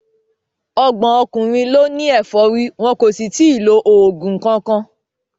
Ọgbọ̀n ọkùnrin ló ní efori wọn kò sì tí ì lo oògùn kankan.